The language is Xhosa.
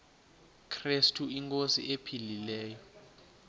krestu inkosi ephilileyo